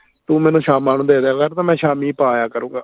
ਤੂੰ ਮੈਨੂੰ ਸ਼ਾਮਾਂ ਨੂੰ ਦੇ ਦੀਆ ਕਰ ਤੇ ਮੈਂ ਸ਼ਾਮੀ ਪਾ ਆਇਆ ਕਰੂੰਗਾ